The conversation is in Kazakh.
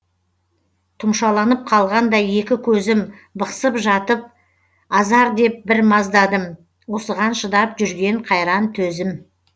тұмшаланып қалғандай екі көзім бықсып жатып азар деп бір маздадым осыған шыдап жүрген қайран төзім